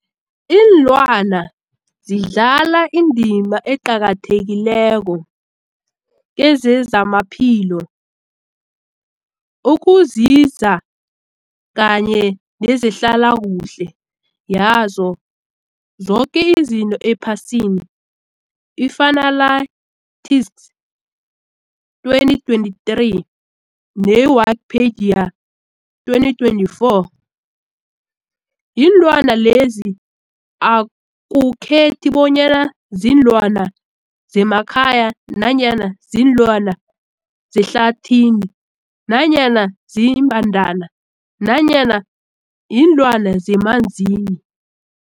Ilwana zidlala indima eqakathekileko kezamaphilo, ukunzinza kanye nezehlala kuhle yazo zoke izinto ephasini, i-Fuanalytics 2023, ne-Wikipedia 2024. Iinlwana lezi akukhethi bonyana ziinlwana zemakhaya nanyana kuziinlwana zehlathini nanyana iimbandana nanyana iinlwana zemanzini.